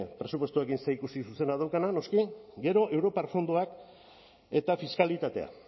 presupuestoekin zerikusi zuzena daukana noski gero europar fondoak eta fiskalitatea